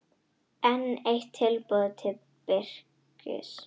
Enn eitt tilboð til Birkis